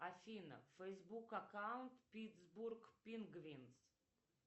афина фейсбук аккаунт питсбург пингвинс